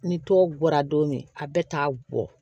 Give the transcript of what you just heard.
Ni tɔ bɔra don min a bɛ t'a bɔ